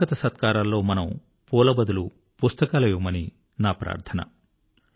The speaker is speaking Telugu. స్వాగతసత్కారాల్లో మనము పూల బదులు పుస్తకాలు ఇవ్వమని నా ప్రార్థన